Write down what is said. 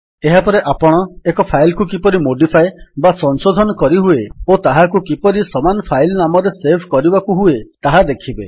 ଏହାପରେ ଆପଣ ଏକ ଫାଇଲ୍ କୁ କିପରି ମୋଡିଫାଏ କରିହୁଏ ଓ ତାହାକୁ କିପରି ସମାନ ଫାଇଲ୍ ନାମରେ ସେଭ୍ କରିବାକୁ ହୁଏ ତାହା ଦେଖିବେ